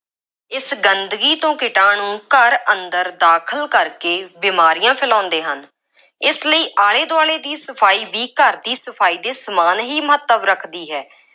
ਇਸ ਗੰਦਗੀ ਤੋਂ ਕੀਟਾਣੂੰ ਘਰ ਅੰਦਰ ਦਾਖਲ ਕਰਕੇ ਬੀਮਾਰੀਆਂ ਫੈਲਾਉਂਦੇ ਹਨ। ਇਸ ਲਈ ਆਲੇ ਦੁਆਲੇ ਦੀ ਸਫਾਈ ਵੀ ਘਰ ਦੀ ਸਫਾਈ ਦੇ ਸਮਾਨ ਹੀ ਮਹੱਤਵ ਰੱਖਦੀ ਹੈ।